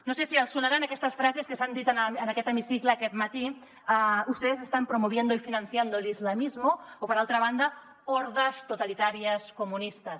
no sé si els deuen sonar aquestes frases que s’han dit en aquest hemicicle aquest matí ustedes están promoviendo y financiando el islamismo o per altra banda hordas totalitarias comunistas